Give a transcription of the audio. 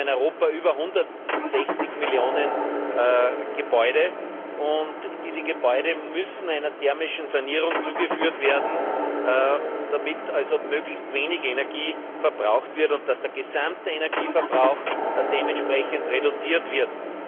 Wir haben in Europa über 160 Millionen Gebäude, und diese Gebäude müssen einer thermischen Sanierung zugeführt werden, damit möglichst wenig Energie verbraucht wird und der gesamte Energieverbrauch entsprechend reduziert wird.